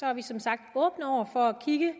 er vi som sagt åbne over for at kigge